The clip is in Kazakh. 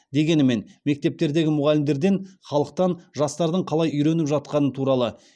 дегенімен мектептердегі мұғалімдерден халықтан жастардың қалай үйреніп жатқаны туралы